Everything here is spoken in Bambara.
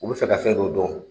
U bɛ fɛ ka fɛn dɔ dɔn.